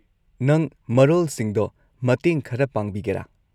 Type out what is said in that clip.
ꯅꯪ ꯃꯔꯣꯜꯁꯤꯡꯗꯣ ꯃꯇꯦꯡ ꯈꯔ ꯄꯥꯡꯕꯤꯒꯦꯔꯥ?